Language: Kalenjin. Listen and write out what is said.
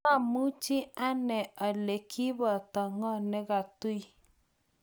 maamuch ani ale kiboto ng'o ne katui